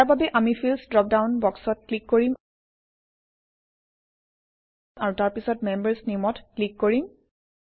ইয়াৰ বাবে আমি fields dropdown বক্সত ক্লিক কৰিম আৰু তাৰ পিছত মেম্বাৰ্ছ Name অত ক্লিক কৰিম